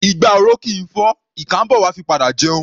Igbá oró kì í fọ́; ìkà ḿbọ̀ wá padà fi jẹun.